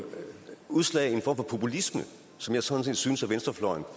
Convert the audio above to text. udslag i en form for populisme som jeg sådan set synes at venstrefløjen